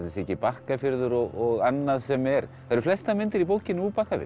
sé ekki Bakkafjörður og annað sem er það eru flestar myndir í bókinni úr Bakkafirði